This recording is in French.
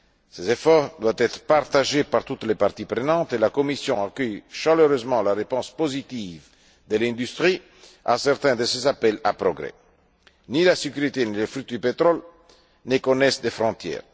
Ces efforts doivent être partagés par toutes les parties prenantes et la Commission accueille chaleureusement la réponse positive de l'industrie à certains de ses appels à progrès. Ni la sécurité, ni les fuites du pétrole ne connaissent de frontières.